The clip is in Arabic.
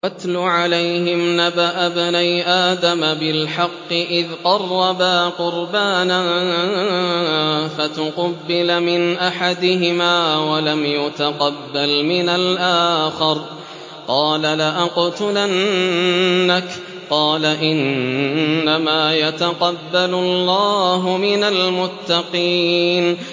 ۞ وَاتْلُ عَلَيْهِمْ نَبَأَ ابْنَيْ آدَمَ بِالْحَقِّ إِذْ قَرَّبَا قُرْبَانًا فَتُقُبِّلَ مِنْ أَحَدِهِمَا وَلَمْ يُتَقَبَّلْ مِنَ الْآخَرِ قَالَ لَأَقْتُلَنَّكَ ۖ قَالَ إِنَّمَا يَتَقَبَّلُ اللَّهُ مِنَ الْمُتَّقِينَ